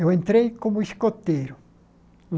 Eu entrei como escoteiro.